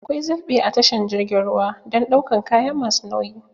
Akwai zalɓe a tashar jirgin ruwa dan ɗaukan kaya masu nauyi